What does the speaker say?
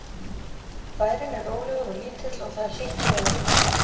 Bærinn er rólegur og lítill og það er hlýtt í veðri.